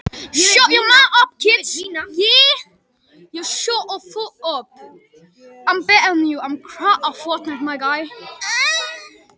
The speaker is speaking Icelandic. Kannski hefur hún tælt hann, hver veit?